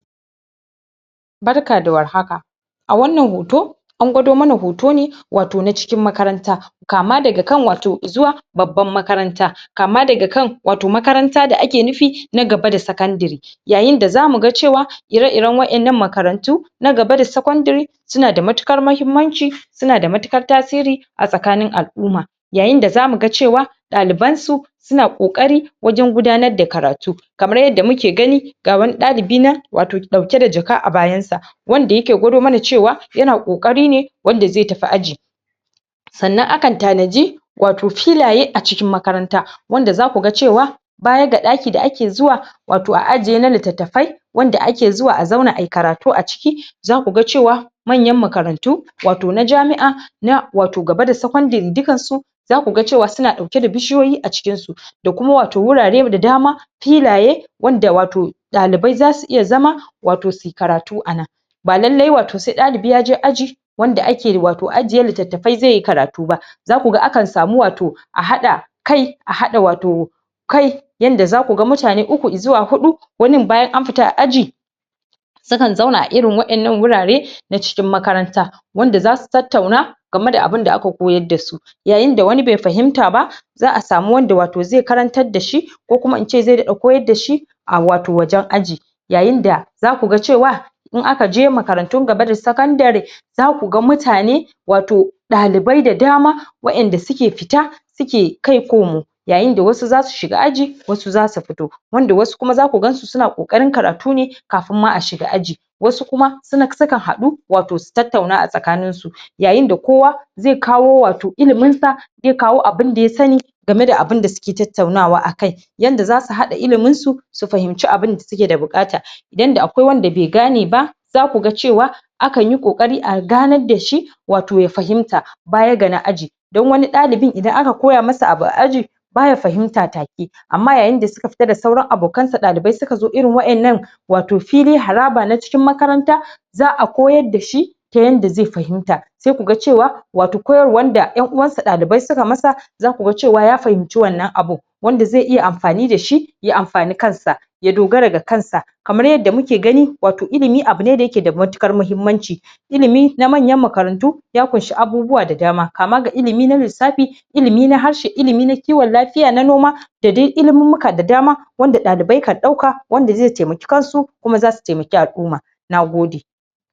barka da war haka a wannan hoto an gwado mana hoto ne wato na cikin makaranta kama daga kan wato zuwa babban makaranta kama daga kan wato makaranta da ake nufi na gaba da secondary yayin da zamu ga cewa ire iren wa'ennan makarantu na gaba da secondary suna da matuƙar mahimmanci suna da matuƙar tasiria a tsakanin al'umma yayin da zamu ga cewa daliban su suna kokari wajen gudanar da karatu kamar yanda muke gani ga wani ɗalibi nan wato dauke da jaka a bayan sa wanda yake gwado mana cewa yana kokari ne wanda zai tafi aji sannan akan tanaji wato filaye a cikin makarantan wanda zaku ga cewa baya ga daki da ake zuwa wato ajiye na littatafai wanda ake zuwa a zauna ayi karatu a ciki zaku ga cewa manyan makarantu wato na jami'a wato gaba da secondary dukkansu zaku ga suna dauke da bishiyoyi a cikin su da kuma wato wurare da dama filaye wanda wato ɗalibai zasu iya zama wato suyi karatu anan ba lallai wato ɗalibi sai yace aji wanda ake wato ajiye littattafai zaiyi karatu ba zaku ga akan samu wato a hada kai a hada wato kai yanda zaku ga mutane uku zuwa hudu wanin bayan an fita a aji sukan zauna a irin wa'ennan wurare na cikin makaranta wanda zasu tattauna game da abunda aka koyarda su yayin da wanin bai fahimta ba za'a samo wanda wato zai karantar dashi ko kuma ince zai ringa koyarda shi a wato wajen aji yayin da zaku ga cewa in aka je makarantu gaba da secondary zaku ga mutane wato ɗalibai da dama wa'enda suke fita suke kai komo yayin da wasu zasu shiga aji wasu zasu fito wanda wasu kuma zaku gan su suna kokarin yin karatu ne kafun ma a shiga aji wasu kuma su kan hadu wato su tattauna a tsakanin su yayin da kowa zai kawo wato ilimin sa zai kawo abun da ya sani game da abun da suke tattaunawa a kai yanda zasu hada ilimin su fahimce abun da suke da bukata yanda akwai wanda bai gane ba zaku ga cewa akanyi kokari a ganar dashi wato ya fahimta baya ga na aji dan wani ɗalibi idan aka koya masa abu a aji baya fahimta take amma yayin da suka fita sauran abokan sa ɗalibai suka zo irin wa'ennan wato fili haraba na cikin makaranta za'a koyar dashi ta yanda zai fahimta sai ku ga cewa wato koyarwa da en'uwan sa dalibai suka masa zaku ga cewa ya fahimci wannan abun wanda zai iya amfani dashi yay amfane kan sa ya dogara da kan sa kamar yadda muke gani wato ilimi abune da yake da matuƙar mahimmanci ilimi na manyan makarantu ya kunshe abubuwa da dama kama ga ilimi na lissafi ilimi na harshe ilmin na kiwon lafiya na noma da dai ilimummuka da dama wanda dalibai kan dauka wanda zai taimake kan su kuma zasu taimake al'umma nagode